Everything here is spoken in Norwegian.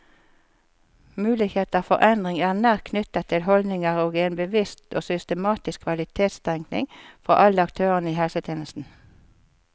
Muligheter for endring er nært knyttet til holdninger og en bevisst og systematisk kvalitetstenkning fra alle aktørene i helsetjenesten.